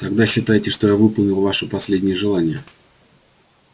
тогда считайте что я выполнил ваше последнее желание